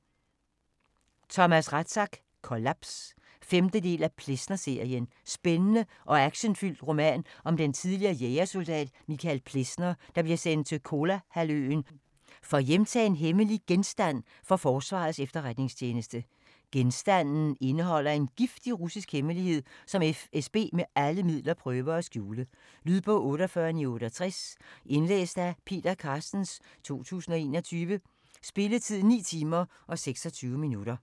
Rathsack, Thomas: Kollaps 5. del af Plessner-serien. Spændende og actionfyldt roman om den tidligere jægersoldat Michael Plessner, der bliver sendt til Kolahalvøen for at hjemtage en hemmelig genstand for Forsvarets Efterretningstjeneste. Genstanden indeholder en giftig russisk hemmelighed, som FSB med alle midler prøver at skjule. Lydbog 48968 Indlæst af Peter Carstens, 2021. Spilletid: 9 timer, 26 minutter.